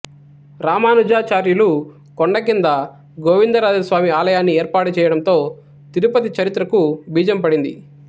రామానుజాచార్యులు కొండ కింద గోవిందరాజస్వామి ఆలయాన్ని ఏర్పాటుచేయడంతో తిరుపతి చరిత్రకు బీజం పడింది